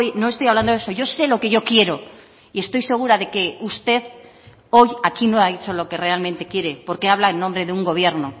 no estoy hablando de eso yo sé lo que yo quiero y estoy segura de que usted hoy aquí no ha dicho lo que realmente quiere porque habla en nombre de un gobierno